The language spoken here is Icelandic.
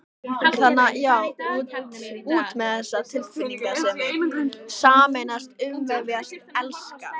Út, út með þessa tilfinningasemi: sameinast, umvefjast, elska.